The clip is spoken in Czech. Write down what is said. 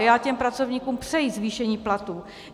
A já těm pracovníkům přeji zvýšení platů.